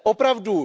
Opravdu,